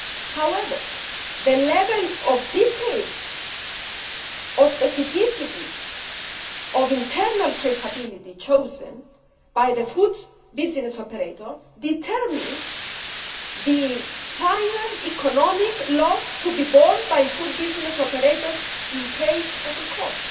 However, the level of detail or specificity of internal traceability chosen by the food business operator determines the final economic loss to be borne by food business operators in the case of recall.